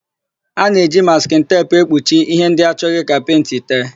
A na-eji maskịn teepu ekpuchi íhé ndị achọghị ka pentị tee.